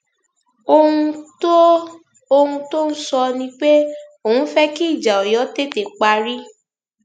ohun tó ohun tó ń sọ ni pé òun fẹ kí ìjà ọyọ tètè parí